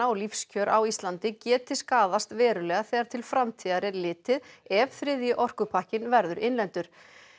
og lífskjör á Íslandi geti skaðast verulega þegar til framtíðar er litið ef þriðji orkupakkinn verður innleiddur